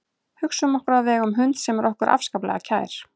Hugsum okkur að við eigum hund sem er okkur afskaplega kær.